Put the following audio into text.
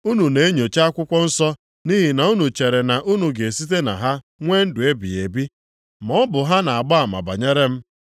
Unu na-enyocha akwụkwọ nsọ nʼihi na unu chere na unu ga-esite na ha nwee ndụ ebighị ebi maọbụ ha na-agba ama banyere m.